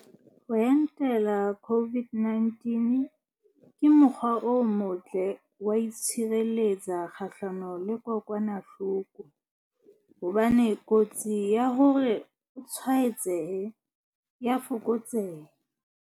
Ho entela COVID-19 ke mo kgwa o motle wa ho itshire letsa kgahlano le kokwana hloko, hobane kotsi ya hore o tswaetsehe e a fokotseha.